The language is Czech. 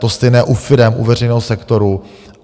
To stejné u firem, u veřejného sektoru.